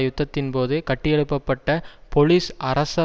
யுத்தத்தின் போது கட்டியெழுப்ப பட்ட பொலிஸ் அரச